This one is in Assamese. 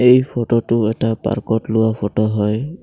এই ফটোটো এটা পাৰ্কত লোৱা ফটো হয়।